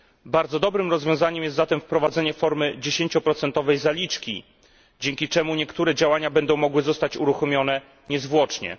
Bardzo dobrym rozwiązaniem jest zatem wprowadzenie formy dziesięcioprocentowej zaliczki, dzięki czemu niektóre działania będą mogły zostać uruchomione niezwłocznie.